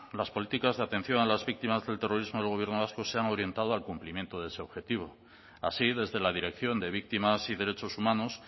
las políticas de atención a las víctimas del terrorismo del gobierno vasco se han orientado al cumplimiento de ese objetivo así desde la dirección de víctimas y derechos humanos